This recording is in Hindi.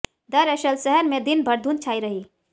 दरअसल शहर में दिन भर धुंध छाई रही